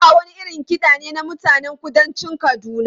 Samba wani irin kiɗa ne na mutanen kudancin Kaduna.